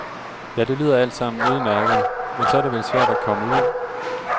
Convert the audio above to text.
Ja, det lyder alt sammen udmærket, men så er det vel svært at komme ud?